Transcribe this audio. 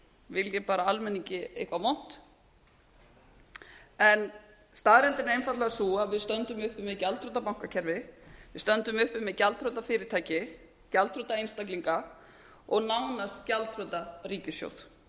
vilji bara almenningi eitthvað vont en staðreyndin er einfaldlega sú að við stöndum uppi með gjaldþrota bankakerfi við stöndum uppi með gjaldþrota fyrirtæki gjaldþrota einstaklinga og nánast gjaldþrota ríkissjóð